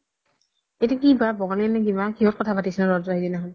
এইতো কিবা বঙালী য়ে নে কিবা কিহ্ত কথা পাতিছে তহতৰ তাত সিদিনা খ্ন